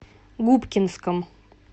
губкинском